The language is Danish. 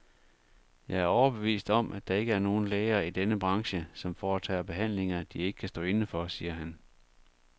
Jeg er overbevist om, at der ikke er nogen læger i denne branche, som foretager behandlinger, de ikke kan stå inde for, siger han.